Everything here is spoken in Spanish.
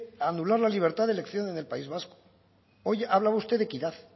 a anular la libertad de elección en el país vasco hoy ha hablado usted de equidad